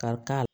Ka ka